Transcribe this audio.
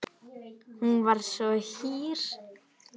Hún var svo hýr.